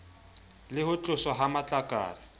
le ho tloswa ha matlakala